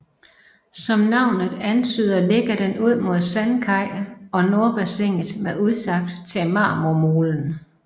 Som navnet antyder ligger den ud mod Sandkaj og Nordbassinet med udsigt til Marmormolen